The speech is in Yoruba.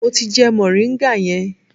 Mo ti jẹ moringa yẹn.